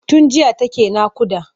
Tun jiya take naƙuda.